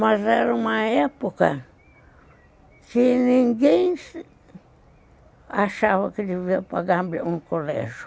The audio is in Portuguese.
Mas era uma época que ninguém achava que devia pagar um colégio.